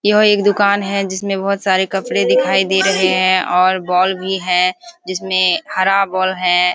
यह एक दुकान है जिसमें बहुत सारे कपड़े दिखाई दे रहें हैं और बॉल भी है जिसमें हरा बॉल है।